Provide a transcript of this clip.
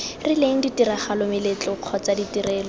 rileng ditiragalo meletlo kgotsa ditirelo